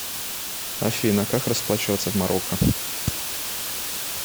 афина как расплачиваться в марокко